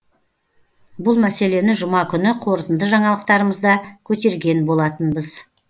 бұл мәселені жұма күні қорытынды жаңалықтарымызда көтерген болатынбыз